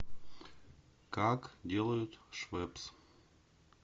как делают швепс